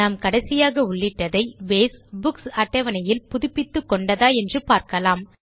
நாம் கடைசியாக உள்ளிட்டதை பேஸ் புக்ஸ் அட்டவணையில் புதுப்பித்துக்கொண்டதா என்று பார்க்கலாம்